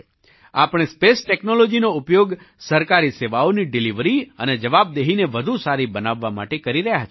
આપણે સ્પેસ ટૅક્નૉલૉજીનો ઉપયોગ સરકારી સેવાઓની ડિલિવરી અને જવાબદેહીને વધુ સારી બનાવવા માટે કરી રહ્યા છીએ